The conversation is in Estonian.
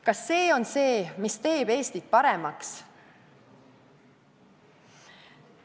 Kas see on see, mis teeb Eestit paremaks?